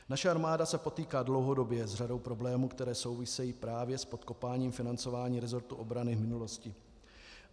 Naše armáda se potýká dlouhodobě s řadou problémů, které souvisejí právě s podkopáním financování resortu obrany v minulosti.